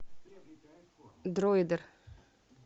дроидер